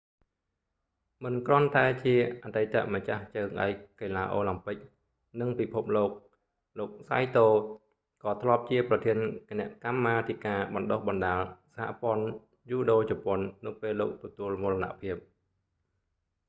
មិនគ្រាន់តែជាអតីតម្ចាស់ជើងឯកកីឡាអូឡាំពិក និងពិភពលោក លោក saito សៃតូ ក៏ធ្លាប់ជាប្រធានគណៈកម្មាធិការបណ្តុះបណ្តាលសហព័ន្ធយូដូជប៉ុន នៅពេលលោកទទួលមរណភាព